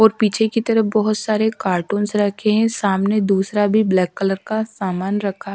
और पीछे की तरफ बोहोत सारे कार्टूनस रखे है सामने दूसरा भी ब्लैक कलर का सामान रखा --